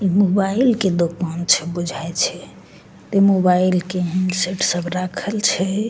इ मोबाइल के दुकान छै बुझा छै ते मोबाइल के हैंडसेट सब राखल छै।